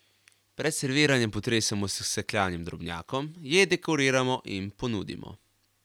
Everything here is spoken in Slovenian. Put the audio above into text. Pred serviranjem potresemo s sekljanim drobnjakom, jed dekoriramo in ponudimo.